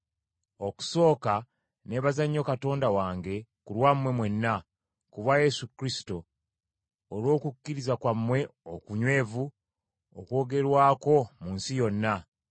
Okusooka neebaza nnyo Katonda wange ku lwammwe mwenna, ku bwa Yesu Kristo, olw’okukkiriza kwammwe okunywevu okwogerwako mu nsi yonna.